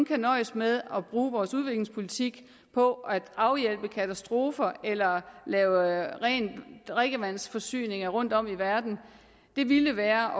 kan nøjes med at bruge vores udviklingspolitik på at afhjælpe katastrofer eller lave ren drikkevandsforsyning rundtom i verden ville være